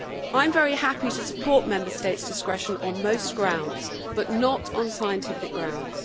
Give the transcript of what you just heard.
I am very happy to support Member States' discretion on most grounds, but not on scientific grounds.